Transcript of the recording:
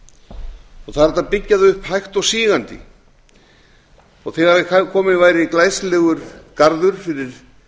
það er hægt að byggja það upp hægt og sígandi þegar kominn væri glæsilegur garður